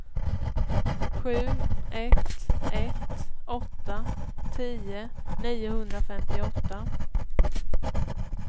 sju ett ett åtta tio niohundrafemtioåtta